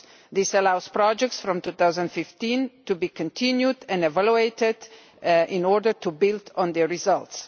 This allows projects from 2015 to be continued and to be evaluated in order to build on their results.